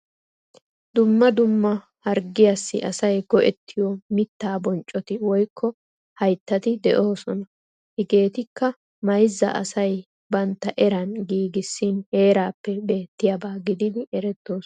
Dumma dumma harggiyassi asay go'ettiyo mittaa bonccoti woykko hayttati de'oosona. Hegeetikka mayzza asay bantta eran giigissin heeraappe beettiyaba gididi erettoosona.